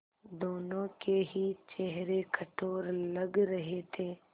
दोनों के ही चेहरे कठोर लग रहे थे